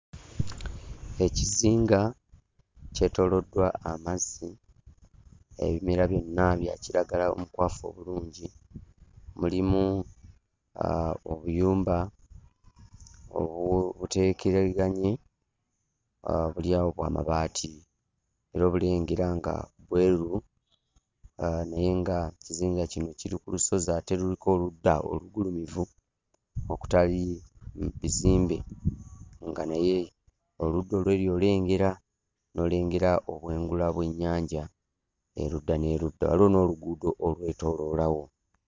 Ekizinga kyetooloddwa amazzi. Ebimera byonna bya kiragala omukwafu obulungi, mulimu obuyumba obuteekereganye, buli awo bw'amabaati era obulengera nga bwerubu naye nga ekizinga kino kiri ku lusozi ate luliko oludda olugulumivu okutali bizimbe nga naye oludda olw'eri olengera, n'olengera obwengula bw'ennyanja erudda n'erudda. Waliwo n'oluguudo olwetooloolawo.